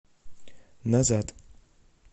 назад